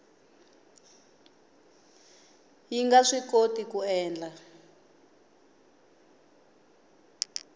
yi nga swikoti ku endla